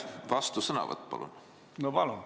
Kaks minutit, palun!